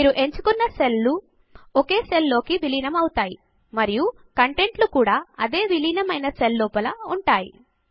మీరు ఎంచుకున్న సెల్ లు ఒక సెల్ లోకి విలీనం అవుతాయి మరియు కంటెంట్ లు కూడా అదే విలీనమైన సెల్ లోపల ఉంటాయి